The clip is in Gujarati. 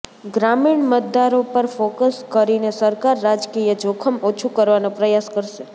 ગ્રામીણ મતદારો પર ફોકસ કરીને સરકાર રાજકીય જોખમ ઓછું કરવાનો પ્રયાસ કરશે